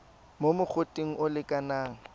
mo mogoteng o o lekanang